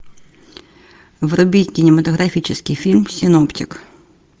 вруби кинематографический фильм синоптик